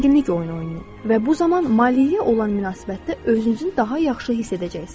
Zənginlik oyunu oynayın və bu zaman maliyyəyə olan münasibətdə özünüzün daha yaxşı hiss edəcəksiniz.